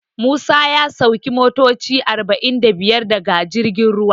Musa ya sauki motoci arba'in da biyar daga girjin ruwa.